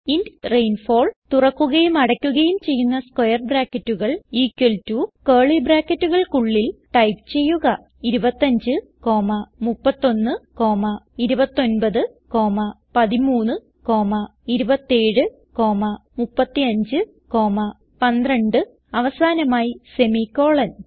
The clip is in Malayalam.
ഇന്റ് റെയിൻഫോൾ തുറക്കുകയും അടയ്ക്കുകയും ചെയ്യുന്ന സ്ക്വയർ ബ്രാക്കറ്റുകൾ ഇക്വൽ ടോ കർലി ബ്രാക്കറ്റുകൾക്കുള്ളിൽ ടൈപ്പ് ചെയ്യുക 25 31 29 13 27 35 12 അവസാനമായി സെമിക്കോളൻ